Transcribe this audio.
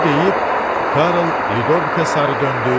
Bunu deyib Karl Lidovikə sarı döndü.